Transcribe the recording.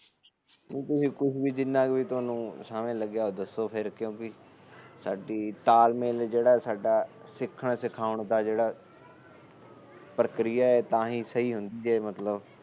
ਤੁਸੀ ਕੁਛ ਵੀ ਜਿਨਾ ਵੀ ਸਮਝ ਲੱਗਿਆ ਫਿਰ ਕਿਉਂਕਿ ਸਾਡੀ ਤਾਲਮੇਲ ਜਿਹੜਾ ਸਾਡਾ ਸਿੱਖਣ ਸਿਖਾਉਣ ਦਾ ਪ੍ਰਕਿਰਿਆ ਤਾਹੀ ਸਹੀ ਹੁੰਦਾ ਜੇ ਮਤਲਬ